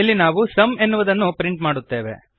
ಇಲ್ಲಿ ನಾವು ಸುಮ್ ಎನ್ನುವುದನ್ನು ಪ್ರಿಂಟ್ ಮಾಡುತ್ತೇವೆ